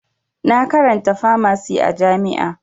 Na karanta famasi a jami'a